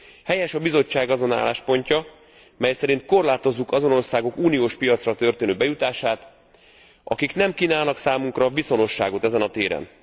Helyes a Bizottság azon álláspontja, mely szerint korlátozzuk azon országok uniós piacra történő bejutását, akik nem kínálnak számunkra viszonosságot ezen a téren.